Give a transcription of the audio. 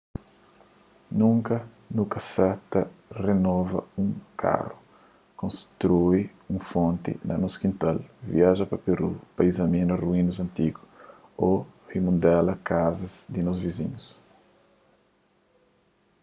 nunka nu ka ta renova un karu konstrui un fonti na nos kintal viaja pa peru pa izamina ruínas antigu ô rimudela kaza di nos vizinhu